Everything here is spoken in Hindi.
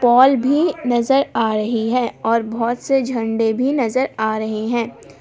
मॉल भी नजर आ रही है और बहुत से झंडा भी नजर आ रहे हैं।